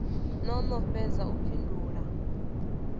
no no fhedza u fhindula